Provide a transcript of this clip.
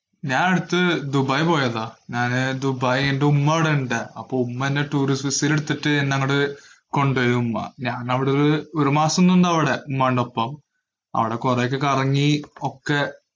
ഞാന്‍ അടുത്ത് ദുബായി പോയതാ. ഞാന് ദുബായ് എന്‍റെ ഉമ്മ അവിടെയുണ്ട്. അപ്പൊ ഉമ്മ എന്നെ എടുത്തിട്ട് എന്നെ അങ്ങോട്ട്‌ കൊണ്ട് പോയി ഉമ്മ. ഞാനവിടെ ഒരു ഒരു മാസം നിന്നവിടെ ഉമ്മാന്‍റൊപ്പം. അവിടെ കൊറേയൊക്കെ കറങ്ങി. ഒക്കെ